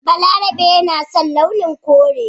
Balarabe yana son launin kore